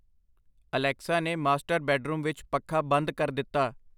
Alexa ਨੇ master bedroom ਵਿੱਚ ਪੱਖਾ ਬੰਦ ਕਰ ਦਿੱਤਾ